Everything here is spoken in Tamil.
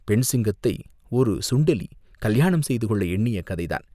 பெண் சிங்கத்தை ஒரு சுண்டெலி கல்யாணம் செய்து கொள்ள எண்ணிய கதைதான்!